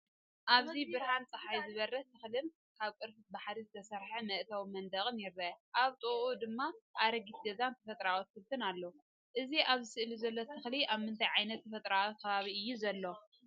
ኣብዚ ብብርሃን ጸሓይ ዝበርህ ተኽልን ካብ ቅርፊት ባሕሪ ዝተሰርሐ መእተዊ መንደቕን ይርአ። ኣብ ጥቓኡ ድማ ኣረጊት ገዛን ተፈጥሮኣዊ ኣትክልትን ኣሎ። እቲ ኣብዚ ስእሊ ዘሎ ተኽሊ ኣብ ምንታይ ዓይነት ተፈጥሮኣዊ ከባቢ እዩ ዘሎ?